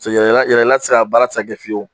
Yɛla yɛla ti se ka baara a baara ti se ka kɛ fiyewu